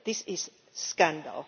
This is a scandal.